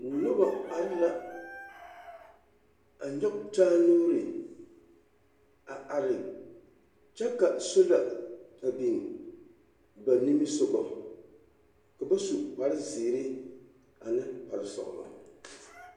Noba are la a nyɔge taa nuuri a are kyɛ ka sola a biŋ ba nimisoga ka ba su kare zeere ane kpare sɔgelɔ.